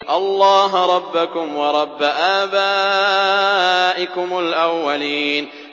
اللَّهَ رَبَّكُمْ وَرَبَّ آبَائِكُمُ الْأَوَّلِينَ